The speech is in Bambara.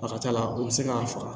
A ka ca la u bɛ se k'a faga